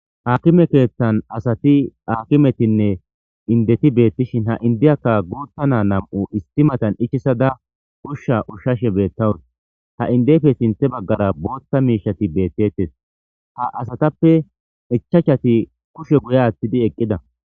Akime keetthan asati aakimetinne indeti beettishin ha indiyakka guuttana nam7u isti matan ichisada ushsha ushshashe beettawus ha indeyfe sinthe baggara bootta miishati beettettes ha asatappe ichachati kushe guye aathtidi eqqida.